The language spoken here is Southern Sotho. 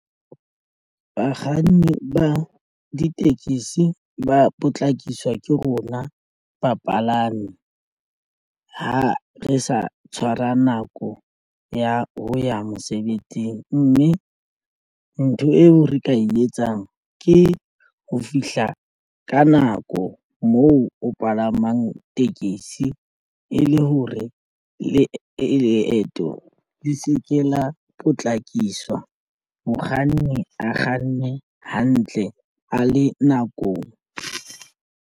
Bakganni ba ditekesi ba potlakiswa ke rona bapalami ha re sa tshwara nako ya ho ya mosebetsing, mme ntho eo re ka e etsang ke ho fihla ka nako moo o palamang tekesi e le hore leeto le se ke la potlakiswa mokganni a kganne hantle a le nakong.